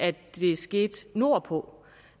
skete nordpå